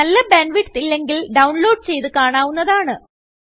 നല്ല bandwidth ഇല്ലെങ്കിൽഡൌൺലോഡ് ചെയ്ത് കാണാവുന്നതാണ്